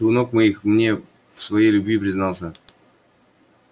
ты у ног моих мне в своей любви признался